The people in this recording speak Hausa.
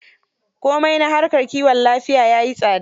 Komai na harkar kiwon lafiya ya yi tsada.